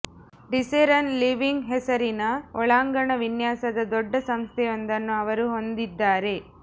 ಡಿಸೆರನ್ living ಹೆಸರಿನ ಒಳಾಂಗಣ ವಿನ್ಯಾಸದ ದೊಡ್ಡ ಸಂಸ್ಥೆಯೊಂದನ್ನು ಅವರು ಹೊಂದಿದ್ದಾರೆ